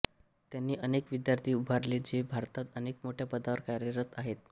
त्यांनी अनेक विद्यार्थी उभारले जे भारतात अनेक मोठ्या पदावर कार्यरत आहेत